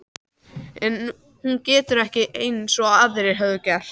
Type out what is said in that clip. En hún getur ekki- eins og aðrar höfðu gert